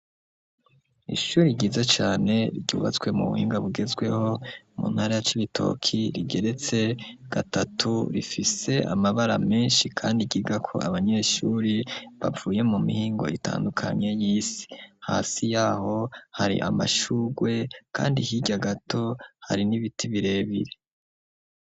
Ishuri ryiza cane ryubatswe mu buhinga bugezweho mu ntara ya c'ibitoki rigeretse gatatu rifise amabara menshi, kandi igiga ko abanyeshuri bavuye mu mihingo ritandukanye y'isi hasi yaho hari amashugwe, kandi hirya gato hari n'ibie ibirebire.